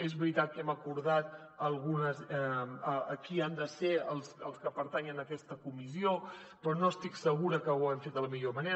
és veritat que hem acordat qui han de ser els que pertanyen a aquesta comissió però no estic segura que ho haguem fet de la millor manera